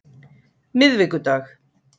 miðvikudag